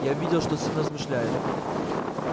я видел что сын размышляет